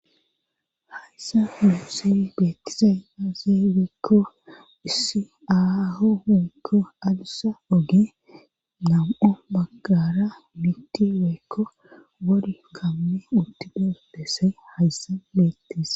Hayssa humu sewi betizaynaze weekko issi aaho owekko adussa oge nam7o baggara miti weekko war kamme uttides dessay hayssa bettis